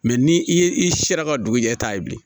Mɛ ni i ye i sera ka dugu jɛ e ta ye bilen